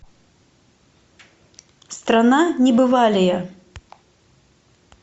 страна небывалия